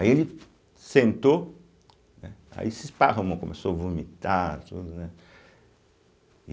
Aí ele sentou, né, aí se esparramou, começou a vomitar e tudo, né?